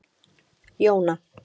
Jóna